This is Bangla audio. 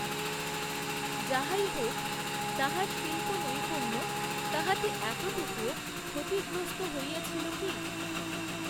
যাহাই হউক তাঁহার শিল্পনৈপুণ্য তাহাতে এতটুকুও ক্ষতিগ্রস্ত হইয়াছিল কি